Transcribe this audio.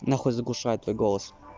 нахуй заглушает твой голос